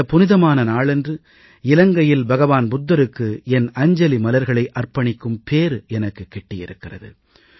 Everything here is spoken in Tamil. இந்த புனிதமான நாளன்று இலங்கையில் பகவான் புத்தருக்கு என் அஞ்சலி மலர்களை அர்ப்பணிக்கும் பேறு எனக்குக் கிட்டியிருக்கிறது